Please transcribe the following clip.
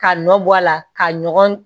Ka nɔ bɔ a la ka ɲɔgɔn